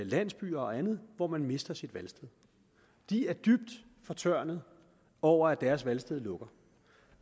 landsbyer og andet hvor man mister sit valgsted de er dybt fortørnede over at deres valgsted lukker